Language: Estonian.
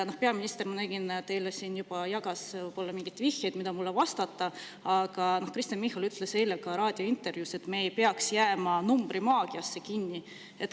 Ma nägin, et peaminister juba jagas siin teile võib-olla mingeid vihjeid, mida mulle vastata, aga Kristen Michal ütles eile ka raadiointervjuus, et me ei peaks jääma numbrimaagiasse kinni.